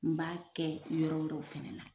N b'a kɛ yɔrɔ wɛrɛw fana na.